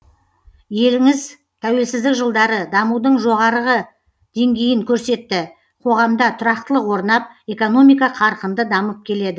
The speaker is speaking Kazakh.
еліңіз тәуелсіздік жылдары дамудың жоғарғы деңгейін көрсетті қоғамда тұрақтылық орнап экономика қарқынды дамып келеді